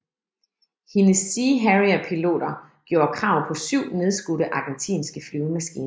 Hendes Sea Harrierpiloter gjorde krav på 7 nedskudte argentinske flyvemaskiner